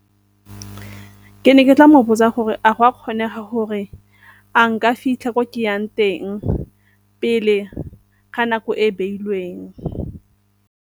Ke ne ke tla mo botsa gore, a go a kgonega gore a nka fitlha ko ke yang teng pele ga nako e e beilweng?